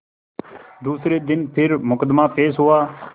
दूसरे दिन फिर मुकदमा पेश हुआ